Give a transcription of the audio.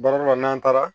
Baara dɔ la n'an taara